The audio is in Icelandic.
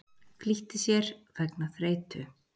Flýtti sér vegna þreytu